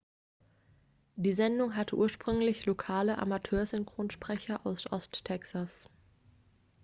die sendung hatte ursprünglich lokale amateursynchronsprecher aus ost-texas